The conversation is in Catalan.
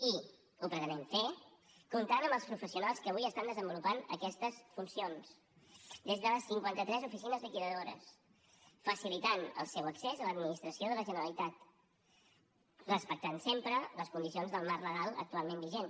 i ho pretenem fer comptant amb els professionals que avui estan desenvolupant aquestes funcions des de les cinquanta tres oficines liquidadores facilitant el seu accés a l’administració de la generalitat respectant sempre les condicions del marc legal actualment vigent